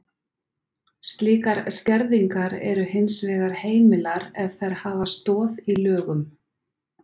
Slíkar skerðingar eru hins vegar heimilar ef þær hafa stoð í lögum.